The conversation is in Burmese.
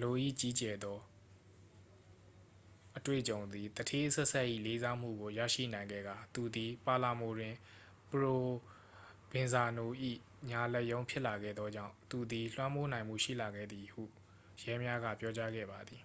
လို၏ကြီးကျယ်သောအတွေ့အကြုံသည် သူဌေးအဆက်ဆက်၏လေးစားမှုကို ရရှိနိုင်ခဲ့ကာ သူသည် ပါလာမိုတွင် ပရိုဗင်ဇာနို၏ညာလက်ရုံးဖြစ်လာခဲ့သောကြောင့် သူသည် လွှမ်းမိုးနိုင်မှုရှိလာခဲ့သည်ဟု ရဲများက ပြောကြားခဲ့ပါသည်